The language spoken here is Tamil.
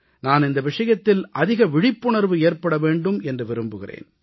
நான் இந்த விஷயத்தில் அதிக விழிப்புணர்வு ஏற்பட வேண்டும் என்று விரும்புகிறேன்